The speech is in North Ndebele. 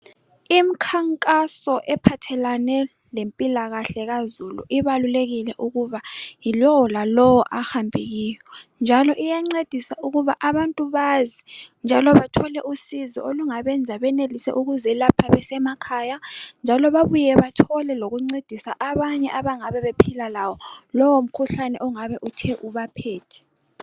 Imikhankaso ephathelane lempilakahle kazulu ibalulekile ukuba yilowo lalowo ahambe kiyo njalo iyancedisa ukuba abantu bazi njalo bathole usizo olungabenza benelise ukuzelapha besemakhaya njalo babuye bathole lokuncedisa abanye abangabe bephila lawo. Lowo mkhuhlane ongabe uthe ubaphethe.